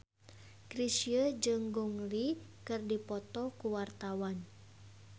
Chrisye jeung Gong Li keur dipoto ku wartawan